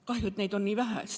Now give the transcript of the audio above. Kahju, et neid on nii vähe.